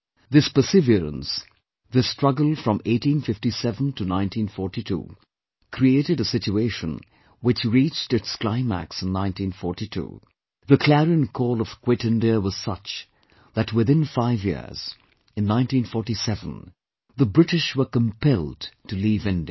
This perseverance, this struggle from 1857 to 1942 created a situation which reached its climax in 1942; the clarion call of 'Quit India' was such that within five years, in 1947 the British were compelled to leave India